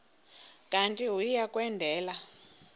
kanti uia kwendela